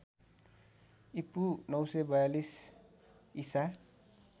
ईपू ९४२ ईसा